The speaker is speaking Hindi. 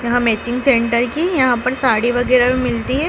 यहां मैचिंग सेंटर की यहां पर साड़ी वगैरह भी मिलती हैं।